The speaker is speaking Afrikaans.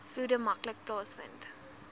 vloede maklik plaasvind